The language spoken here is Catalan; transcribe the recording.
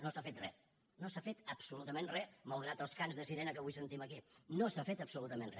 no s’ha fet re no s’ha fet absolutament re malgrat els cants de sirena que avui sentim aquí no s’ha fet absolutament re